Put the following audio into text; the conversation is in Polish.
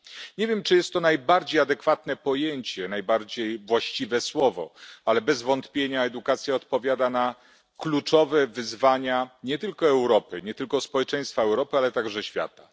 Nie wiem, czy jest to najbardziej adekwatne pojęcie, najbardziej właściwe słowo, ale bez wątpienia edukacja odpowiada na kluczowe wyzwania, nie tylko Europy, nie tylko społeczeństwa Europy, ale także świata.